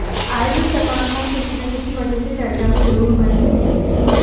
आए दिन सलमान खान किसी ना किसी वजह से चर्चा में जरूर बने रहते हैं